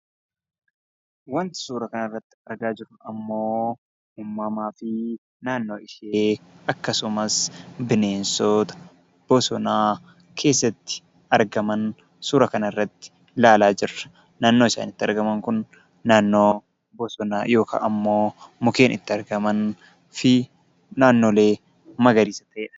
Waanti suura kana irratti argaa jirru immoo, uumamaa fi naannoo ishee akkasumas bineensota bosona keessatti argaman suura kana irratti ilaalaa jirra. Naannoon isaan itti argaman kun, naannoo bosonaa yookaan immoo mukkeen itti argaman akkasumas naannolee magariisa ta'edha.